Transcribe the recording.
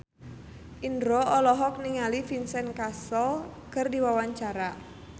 Indro olohok ningali Vincent Cassel keur diwawancara